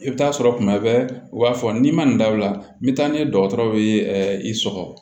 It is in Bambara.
I bɛ taa sɔrɔ tuma bɛɛ u b'a fɔ n'i ma nin da o la n bɛ taa n'a ye dɔgɔtɔrɔw bɛ i sɔgɔ